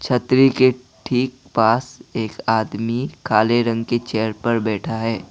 छतरी के ठीक पास एक आदमी काले रंग के चेयर पर बैठा है।